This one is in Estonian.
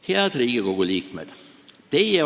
Head Riigikogu liikmed!